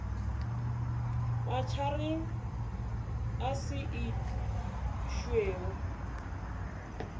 motšhareng a se išwe o